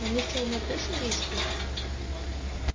на них чёрная плесень действует